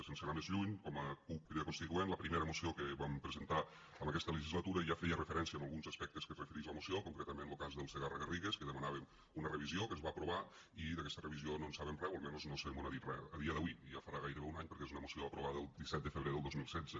sense anar més lluny com a cup crida constituent la primera moció que vam presentar en aquesta legislatura ja feia referència a alguns aspectes que es referix la moció concretament lo cas del segarra garrigues que demanàvem una revisió que es va aprovar i d’aquesta revisió no en sabem re o almenys no se mos n’ha dit res a dia d’avui i ja farà gairebé un any perquè és una moció aprovada el disset de febrer del dos mil setze